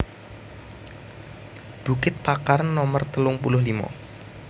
Bukit Pakar Nomer telung puluh limo